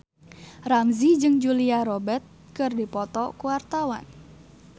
Ramzy jeung Julia Robert keur dipoto ku wartawan